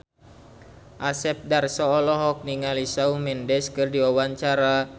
Asep Darso olohok ningali Shawn Mendes keur diwawancara